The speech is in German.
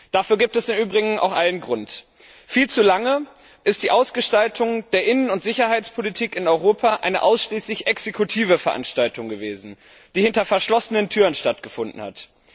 Dafür gibt es im Übrigen auch allen Grund. Viel zu lange ist die Ausgestaltung der Innen und Sicherheitspolitik in Europa eine ausschließlich exekutive Veranstaltung gewesen, die hinter verschlossenen Türen stattgefunden hat.